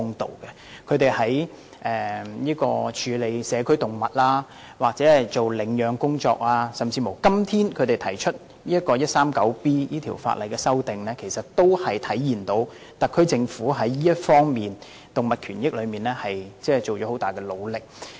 特區政府在處理社區動物或領養方面的工作，以及今天提出修訂香港法例第 139B 章，在在體現出政府在動物權益方面盡了很大努力。